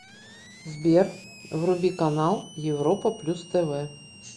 сбер вруби канал европа плюс тв